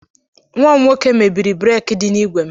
Nwa m nwoke mebiri breki dị na-igwe m